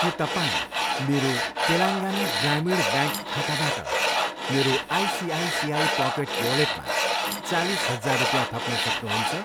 के तपाईँ मेरो तेलङ्गाना ग्रामीण ब्याङ्क खाताबाट मेरो आइसिआइसिआई पकेट वालेटमा चालिस हजार रुपियाँ थप्न सक्नुहुन्छ?